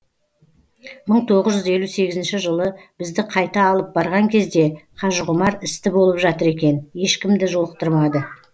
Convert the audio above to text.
мың тоғыз жүз елу сегізінші жылы бізді қайта алып барған кезде қажығұмар істі болып жатыр екен ешкімді жолықтырмады